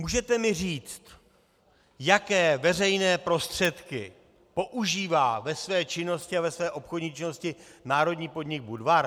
Můžete mi říct, jaké veřejné prostředky používá ve své činnosti a ve své obchodní činnosti národní podnik Budvar?